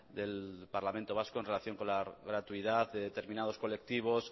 del parlamento vasco en relación con la gratuidad de determinados colectivos